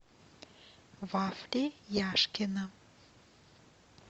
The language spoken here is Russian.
вафли яшкино